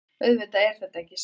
Auðvitað er þetta ekki sett